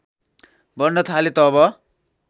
बढ्न थाले तब